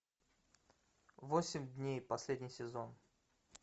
восемь дней последний сезон